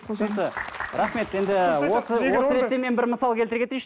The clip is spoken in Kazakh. рахмет енді осы осы ретте мен бір мысал келтіре кетейінші